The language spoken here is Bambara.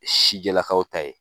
Sijɛlakaw ta ye